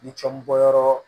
Ni cɔn bɔyɔrɔ